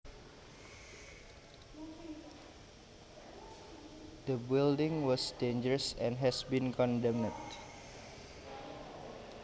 The building was dangerous and has been condemned